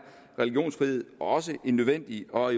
religionsfrihed også en nødvendig og